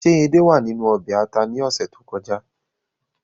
Ṣé edé wàa ninu ọbè ata ni ọsẹ to kọja?